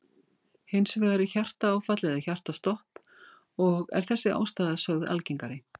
Hins vegar er hjartaáfall eða hjartastopp og er þessi ástæða sögð algengari.